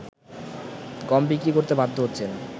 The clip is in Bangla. গম বিক্রি করতে বাধ্য হচ্ছেন